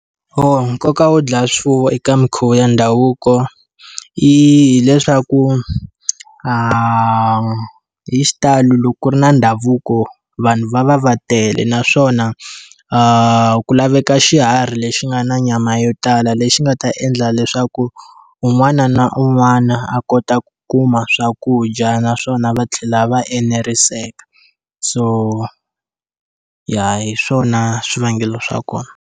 Nkoka wo dlaya swifuwo eka minkhuvo ya ndhavuko, i hileswaku hi xitalo loko ku ri na ndhavuko vanhu va va va tele. Naswona ku laveka xiharhi lexi nga na nyama yo tala lexi nga ta endla leswaku, un'wana na un'wana a kota ku kuma swakudya naswona va tlhela va eneriseka. So ya hi swona swivangelo swa kona.